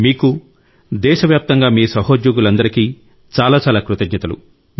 మీకు దేశవ్యాప్తంగా మీ సహోద్యోగులందరికీ చాలా చాలా కృతజ్ఞతలు